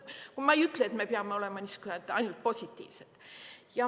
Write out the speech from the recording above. Ma ei ütle, et me peame olema ainult positiivsed.